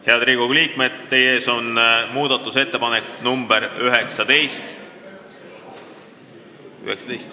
Head Riigikogu liikmed, teie ees on muudatusettepanek nr 19.